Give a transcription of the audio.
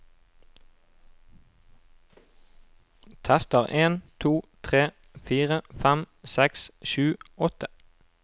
Tester en to tre fire fem seks sju åtte